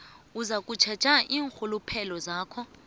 uzakutjheja iinrhuluphelo zakho